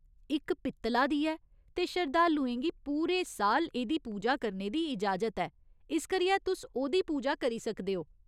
इक पित्तला दी ऐ ते शरधालुएं गी पूरे साल एह्दी पूजा करने दी इजाजत ऐ, इस करियै तुस ओह्दी पूजा करी सकदे ओ।